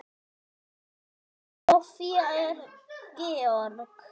Soffía og Georg.